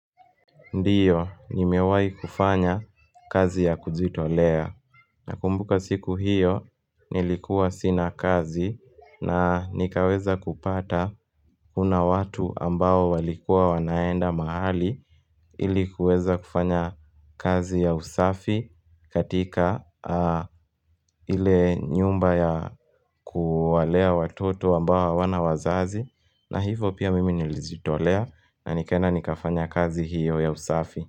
Ndiyo, nimewai kufanya kazi ya kujitolea. Na kumbuka siku hiyo, nilikuwa sina kazi na nikaweza kupata kuna watu ambao walikua wanaenda mahali. Ili kuweza kufanya kazi ya usafi katika ile nyumba ya kuwalea watoto ambao hawana wazazi. Na hivyo pia mimi nilijitolea na nikaenda nikafanya kazi hiyo ya usafi.